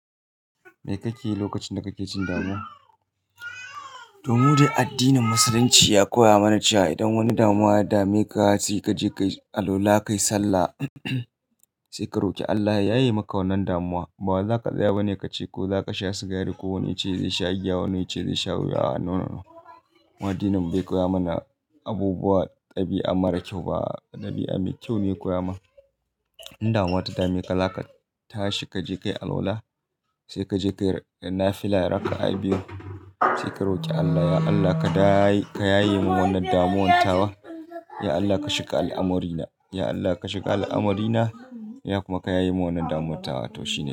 Me kake yi lokacin da kake jin damuwa? Toh mu de addinin Musulunci ya koya mana cewa idan wani damuwa ya dame ka sai ka je ka yi alwala, ka yi sallah, sai ka roke Allah ya yaye maka wannan damuwa. Ba za ka tsaya ba ne ka ce ko za ka sha sigari ko wani ce zai sha giya, wani ce zai sha ruwa. A'a, nawa. Mu addinin mu bai koya mana abubuwa dabi'a mara kyau ba. Dabi'a mai kyau ne ya koya mana. In damuwa ta dame ka, za ka tashi, ka je ka yi alwala, sai ka je ka yi nafila raka'a biyu, sai ka roƙi Allah, ya Allah ka da, ka yaye min wannan damuwan tawa. Ya Allah ka shiga al'amurina, ya Allah ka shiga al'amurina, ya kuma ka yaye min wannan damuwan tawa toshi.